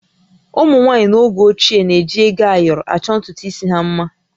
Ụmụ nwaanyị n'oge ochie na-eji ego ayọrọ achọ ntutu isi ha mma